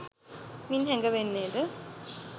මින් හැඟවෙන්නේද